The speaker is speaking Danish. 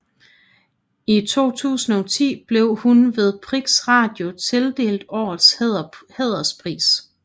I 2010 blev hun ved Prix Radio tildelt Årets hæderspris